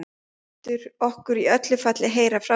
Þú lætur okkur í öllu falli heyra frá þér.